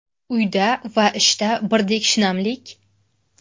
Uyda va ishda birdek shinamlik?